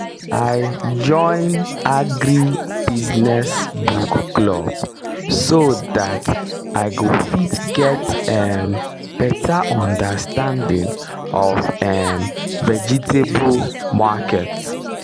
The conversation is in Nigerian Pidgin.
i join agri business book club so that i go fit get um better understanding of um vegetable market